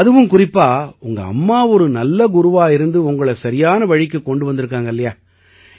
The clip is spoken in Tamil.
அதுவும் குறிப்பா உங்க அம்மா ஒரு நல்ல குருவா இருந்து உங்களை சரியான வழிக்குக் கொண்டு வந்திருக்காங்க